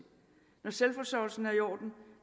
når selvforsørgelsen er i orden